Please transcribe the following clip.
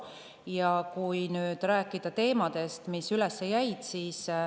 Räägin nüüd teemadest, mis üles jäid.